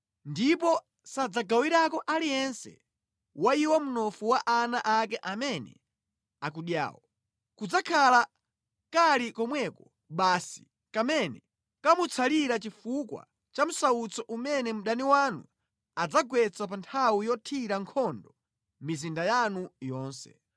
ndipo sadzagawirako aliyense wa iwo mnofu wa ana ake amene akudyawo. Kadzakhala kali komweko basi kamene kamutsalira chifukwa cha msautso umene mdani wanu adzagwetsa pa nthawi yothira nkhondo mizinda yanu yonse.